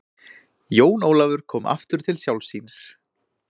Jón Ólafur kom aftur til sjálfs sín.